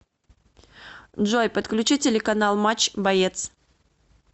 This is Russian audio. джой подключи телеканал матч боец